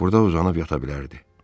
Burda uzanıb yata bilərdi.